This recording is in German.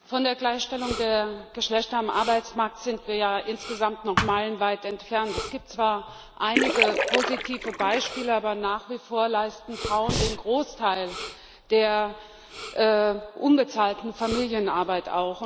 Herr Präsident! Von der Gleichstellung der Geschlechter am Arbeitsmarkt sind wir ja insgesamt noch meilenweit entfernt. Es gibt zwar einige positive Beispiele, aber nach wie vor leisten Frauen den Großteil der unbezahlten Familienarbeit.